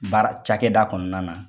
Baara cakɛda kɔnɔna na.